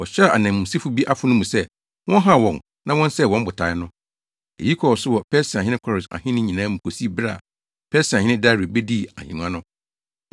Wɔhyɛɛ ananmusifo bi afono mu sɛ wɔnhaw wɔn na wɔnsɛe wɔn botae no. Eyi kɔɔ so wɔ Persiahene Kores ahenni nyinaa mu kosii bere a Persiahene Dario bedii ahengua no.